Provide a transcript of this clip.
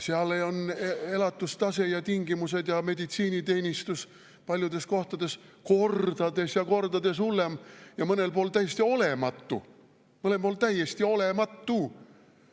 Seal on elatustase ja tingimused ja meditsiiniteenistus paljudes kohtades kordades ja kordades hullem ja mõnel pool täiesti olematu – mõnel pool täiesti olematu!